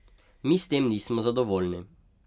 Mi s tem nismo zadovoljni.